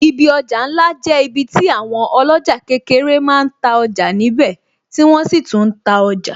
Ibi ọjà ńlá jẹ́ ibi tí àwọn oloja kékeré máa ń ta ọjà níbè tí wọ́n sì tún ta ọjà